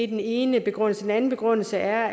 den ene begrundelse den anden begrundelse er